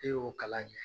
E y'o kalan kɛ